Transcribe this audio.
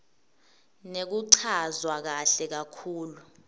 nekuchazwa kahle kakhulu